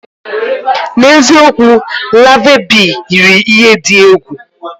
N'eziokwu? Larvae Bee yiri ihe dị egwu.